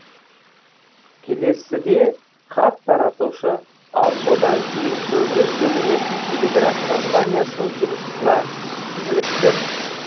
келесіде хат таратушы ал содан кейін көбірек төленетін телеграф компаниясының жұмысына ілікті